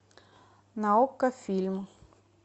на окко фильм